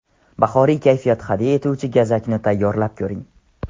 Bahoriy kayfiyat hadya etuvchi gazakni tayyorlab ko‘ring.